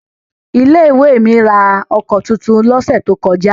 Ilé-ìwé mi ra ọkọ̀ tuntun lọ́sẹ̀ tó kọjá.